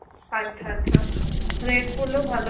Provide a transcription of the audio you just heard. আচ্ছা আচ্ছা. red পরলেও ভাল